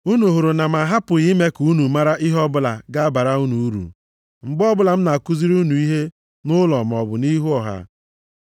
Unu hụrụ na m ahapụghị ime ka unu mara ihe ọbụla ga-abara unu uru, mgbe ọbụla m na-akụziri unu ihe nʼụlọ maọbụ nʼihu ọha.